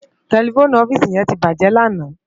Tèlèfóni òfisi yèn tibájè làná